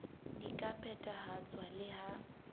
di ka phethahatswa le ha